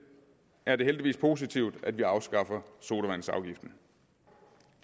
er det heldigvis positivt at vi afskaffer sodavandsafgiften